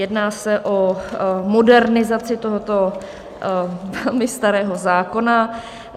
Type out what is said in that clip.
Jedná se o modernizaci tohoto velmi starého zákona.